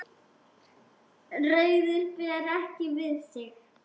Ræður bara ekki við sig.